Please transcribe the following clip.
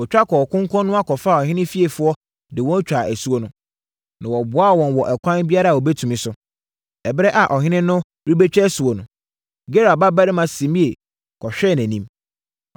Wɔtwa kɔɔ konkɔnoa kɔfaa ɔhene fiefoɔ de wɔn twaa asuo no, na wɔboaa wɔn wɔ ɛkwan biara a wɔbɛtumi so. Ɛberɛ a ɔhene no rebɛtwa asuo no, Gera babarima Simei kɔhwee nʼanim.